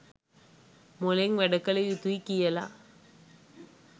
මොලෙන් වැඩ කළ යුතුයි කියලා.